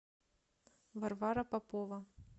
варвара попова